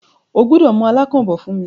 O gbúdọ̀ mú “alákàn” bọ̀ fún mí!